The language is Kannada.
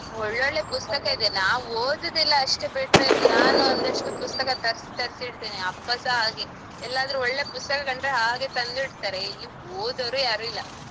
ಒಳ್ಳೊಳ್ಳೆ ಪುಸ್ತಕ ಇದೆ ನಾವ್ ಓದುದಿಲ್ಲ ಅಷ್ಟೇ ಬಿಟ್ರೆ ನಾನ್ ಒಂದು ಅಷ್ಟು ಪುಸ್ತಕ ತರ್ಸ್ ತರ್ಸಿಡ್ತೇನೆ ಅಪ್ಪಸ ಹಾಗೆ ಎಲ್ಲಾದ್ರೂ ಒಳ್ಳೆ ಪುಸ್ತಕ ಕಂಡ್ರೆ ಹಾಗೆ ತಂದು ಇಡ್ತಾರೆ ಇಲ್ಲಿ ಓದೋರೆ ಯಾರಿಲ್ಲ.